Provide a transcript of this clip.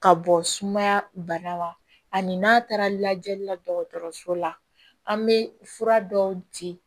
Ka bɔ sumaya bana la ani n'a taara lajɛli la dɔgɔtɔrɔso la an bɛ fura dɔw di